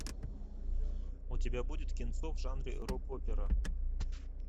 у тебя будет кинцо в жанре рок опера